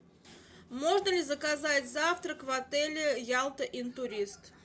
можно ли заказать завтрак в отеле ялта интурист